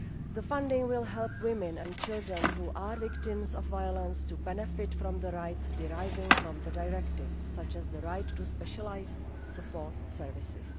The funding will help women and children who are victims of violence to benefit from the rights deriving from the Directive, such as the right to specialised support services.